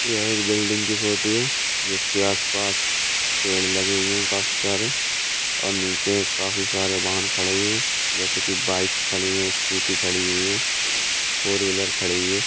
ये एक बिल्डिंग की फोटो है जिसके आस-पास पेड़ लगे हुए हैं काफी सारे और नीचे एक काफी सारे वाहन खड़े हुए हैं जैसे कि बाइक्स खड़ी हैं स्कूटी खड़ी है फोर व्हीलर वाहन खड़ी हुई है।